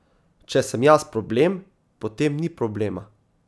Če sem jaz problem, potem ni problema.